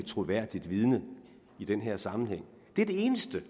troværdigt vidne i den her sammenhæng det er det eneste